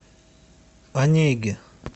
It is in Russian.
онеги